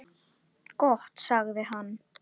Gott sagði hann.